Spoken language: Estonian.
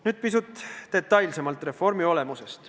Nüüd pisut detailsemalt reformi olemusest.